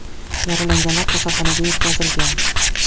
Yaralanganlar kasalxonaga yetkazilgan.